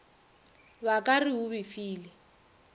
ba ka re o befile